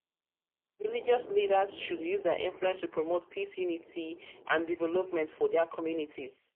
religious leaders should use dia influence to promote peace unity and unity and development for dia communities.